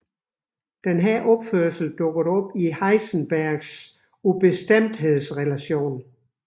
Denne opførsel dukker op i Heisenbergs ubestemthedsrelation